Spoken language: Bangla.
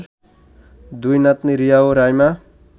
দুই নাতনি রিয়া ও রাইমা